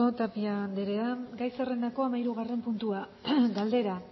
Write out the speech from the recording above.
tapia andrea gai zerrendako hamairugarren puntua galdera